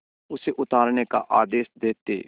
उसे उतारने का आदेश देते